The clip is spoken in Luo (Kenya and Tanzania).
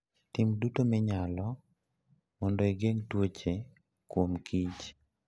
Tim duto minyalo mondo igeng' tuoche kuomkich.